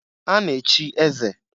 A na-echi eze.